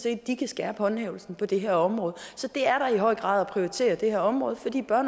at de kan skærpe håndhævelsen på det her område så det er da i høj grad at prioritere det her område